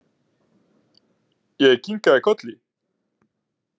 Ég kinkaði kolli.